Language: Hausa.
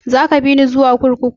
Za ka bini zuwa kurkuku?